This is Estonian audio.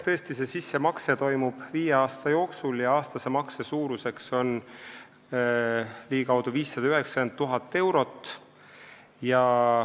Tõesti, see sissemakse toimub viie aasta jooksul ja aastase makse suurus on ligikaudu 590 000 eurot.